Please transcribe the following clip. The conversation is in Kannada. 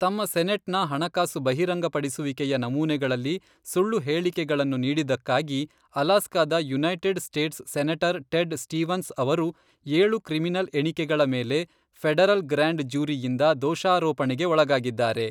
ತಮ್ಮ ಸೆನೆಟ್ ನ ಹಣಕಾಸು ಬಹಿರಂಗಪಡಿಸುವಿಕೆಯ ನಮೂನೆಗಳಲ್ಲಿ ಸುಳ್ಳು ಹೇಳಿಕೆಗಳನ್ನು ನೀಡಿದ್ದಕ್ಕಾಗಿ ಅಲಾಸ್ಕಾದ United States senator Ted Stevens ಅವರು ಏಳು ಕ್ರಿಮಿನಲ್ ಎಣಿಕೆಗಳ ಮೇಲೆ ಫೆಡರಲ್ ಗ್ರ್ಯಾಂಡ್ ಜ್ಯೂರಿಯಿಂದ ದೋಷಾರೋಪಣೆಗೆ ಒಳಗಾಗಿದ್ದಾರೆ.